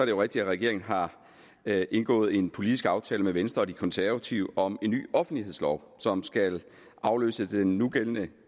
jo rigtigt at regeringen har indgået en politisk aftale med venstre og de konservative om en ny offentlighedslov som skal afløse den nugældende